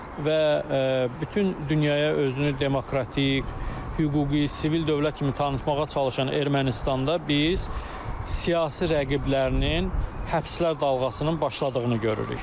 Və bütün dünyaya özünü demokratik, hüquqi, sivil dövlət kimi tanıtmağa çalışan Ermənistanda biz siyasi rəqiblərinin həbslər dalğasının başladığını görürük.